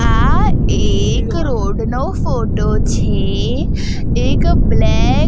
આ એક રોડ નો ફોટો છે એક બ્લેક --